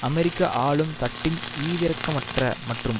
அமெரிக்க ஆளும் தட்டின் ஈவிரக்கமற்ற மற்றும்